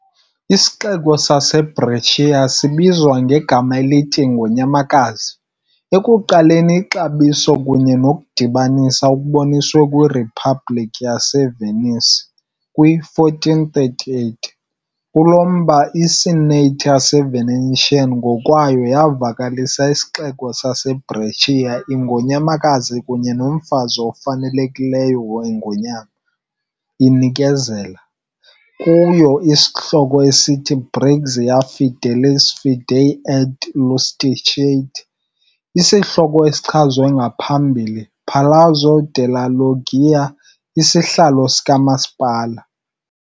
Isixeko saseBrescia sibizwa ngegama elithi "Ingonyamakazi", ekuqaleni ixabiso kunye nokudibanisa okuboniswe kwiRiphabhlikhi yaseVenice - kwi-1438, kulo mba, i- Senate yaseVenetian ngokwayo yavakalisa isixeko saseBrescia "Ingonyamakazi kunye nomfazi ofanelekileyo weNgonyama" inikezela. kuyo isihloko esithi "Brixia Fidelis fidei et Iustitiae", isihloko esichazwe ngaphambili Palazzo della Loggia, isihlalo sikamasipala.